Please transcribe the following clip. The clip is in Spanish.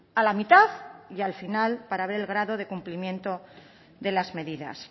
a la mitad y al final para ver el grado de cumplimiento de las medidas